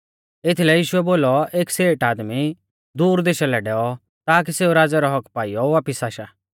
एथीलै यीशुऐ बोलौ एक सेठ आदमी दूर देशा लै डैऔ ताकी सेऊ राज़ै रौ हक्क्क पाइयौ वापिस आशा